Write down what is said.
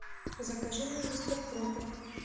закажи мне мистер пропер